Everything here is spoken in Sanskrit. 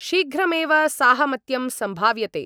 शीघ्रमेव साहमत्यं सम्भाव्यते।